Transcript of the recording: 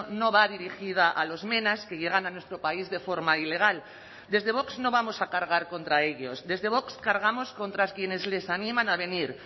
no va dirigida a los menas que llegan a nuestro país de forma ilegal desde vox no vamos a cargar contra ellos desde vox cargamos contra quienes les animan a venir